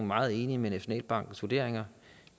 meget enig i nationalbankens vurderinger